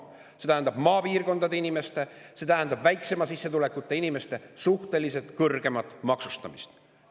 See tähendab maapiirkondade inimeste, see tähendab väiksema sissetulekuga inimeste suhteliselt kõrgemat maksustamist.